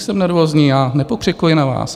Nejsem nervózní, já nepokřikuj na vás.